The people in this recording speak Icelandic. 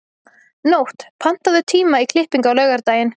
Nótt, pantaðu tíma í klippingu á laugardaginn.